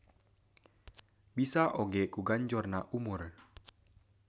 Bisa oge ku ganjorna umur.